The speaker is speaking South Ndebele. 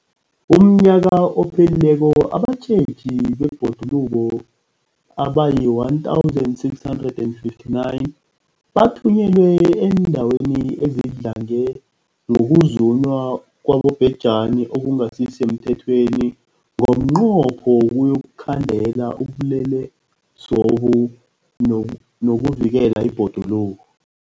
UmNnyaka ophelileko abatjheji bebhoduluko abayi-1 659 bathunyelwa eendaweni ezidlange ngokuzunywa kwabobhejani okungasi semthethweni ngomnqopho wokuyokukhandela ubulelesobu nokuvikela ibhoduluko.